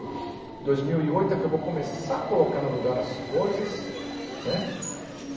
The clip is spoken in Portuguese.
dois mil e oito é que eu vou começar a colocar no lugar as coisas, né?